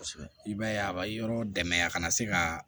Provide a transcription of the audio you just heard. I b'a ye a bɛ yɔrɔ dɛmɛ a kana se ka